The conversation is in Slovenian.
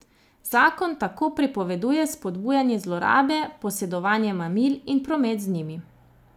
Zakon tako prepoveduje spodbujanje zlorabe, posedovanje mamil in promet z njimi.